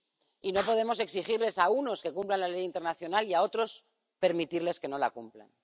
Y no podemos exigirles a unos que cumplan la ley internacional y a otros permitirles que no la cumplan.